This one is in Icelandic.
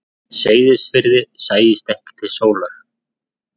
Seyðisfirði sæist ekki til sólar.